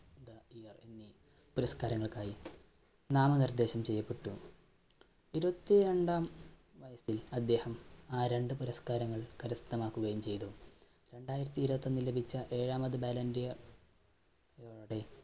പുരസ്കാരങ്ങൾക്കായി നാമനിർദേശം ചെയ്യപ്പെട്ടു. ഇരുപത്തിരണ്ടാം വയസ്സിൽ അദ്ദേഹം ആ രണ്ട് പുരസ്കാരങ്ങൾ കരസ്ഥമാക്കുകയും ചെയ്തു. രണ്ടായിരത്തിഇരുപത്തിയൊന്നിൽ ലഭിച്ച ഏഴാമത് ballon d'Or